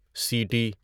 سیٹی